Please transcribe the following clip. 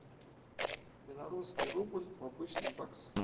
белорусский рубль в обычный бакс